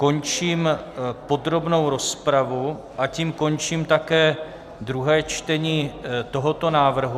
Končím podrobnou rozpravu, a tím končím také druhé čtení tohoto návrhu.